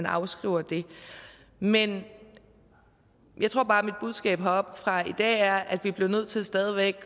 afskriver dem men jeg tror bare at mit budskab her oppe fra i dag er at vi bliver nødt til stadig væk at